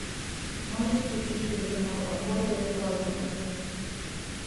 можешь включить телеканал охота и рыбалка на тв